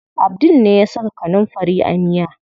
Abdul ne ya saka kanunfari a miya.